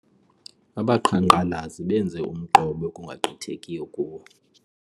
Abaqhankqalazi benze umqobo ekungagqithekiyo kuwo.